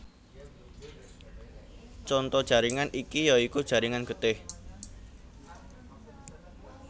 Conto jaringan iki ya iku jaringan getih